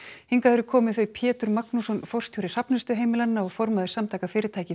hingað eru komin þau Pétur Magnússon forstjóri Hrafnistuheimilanna og formaður Samtaka fyrirtækja í